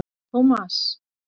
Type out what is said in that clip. Tómas